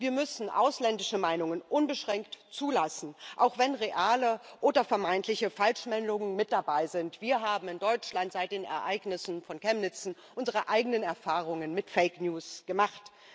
Wir müssen ausländische Meinungen unbeschränkt zulassen, auch wenn reale oder vermeintliche Falschmeldungen mit dabei sind. Wir haben in Deutschland seit den Ereignissen von Chemnitz unsere eigenen Erfahrungen mit Fake News gemacht.